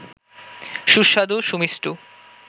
সুস্বাদু সুমিষ্ট